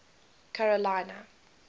carolina